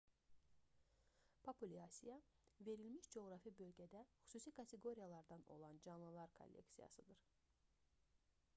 populyasiya verilmiş coğrafi bölgədə xüsusi kateqoriyalardan olan canlılar kolleksiyasıdır